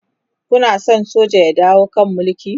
Kuna San soja su dawo kan Mulki?